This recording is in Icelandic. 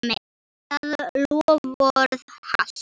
Það loforð halt.